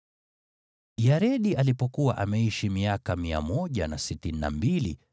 Yaredi alipokuwa ameishi miaka 162, akamzaa Enoki.